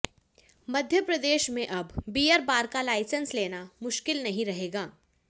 मध्य प्रदेश में अब beer bar का लाइसेंस लेना मुश्किल नहीं रहेगा